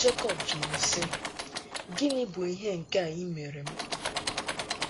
Jekọb jụrụ si: “ Gịnị bụ ihe nke a ịmere m?